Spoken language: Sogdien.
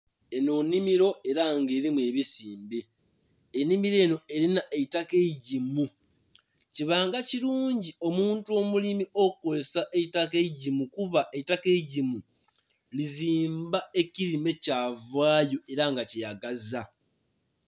Enho nhimiro ela nga elimu ebisimbe enhimiro enho elimu eitaka eigimu, kibanga kilugi omuntu omulimi okukozesa eitaka eigimu kuba eitaka eigimu lizimba ekilime kyavaayo ela nga kyeyagaza.